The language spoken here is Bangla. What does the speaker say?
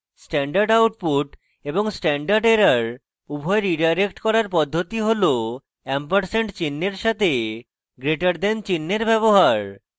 standard output এবং standard error উভয় রীডাইরেক্ট করার পদ্ধতি হল & চিন্হের সাথে greater the চিন্হের &> ব্যবহার